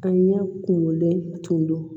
An ɲɛ kunkolo tun don